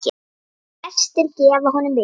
Gestir gefa honum mikið.